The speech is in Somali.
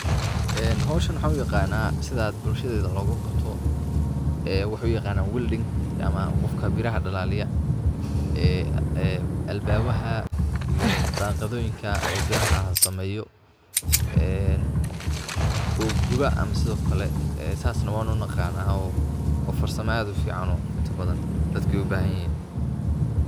En hoshan waxan uyaqana sidad bulshadeida logaqabto ,waxay uyaqanan welding ,ama qofka biraha dalaliyah, ee albabaha iyo daqaadhoyinka biraha sameyo. en oo guba ama sidhiokale ee sas na wan unaqana waa farsamo ad ufican oo inta dadka ubahanyin.